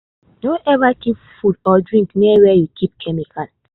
no ever keep food or drink near where you keep chemical.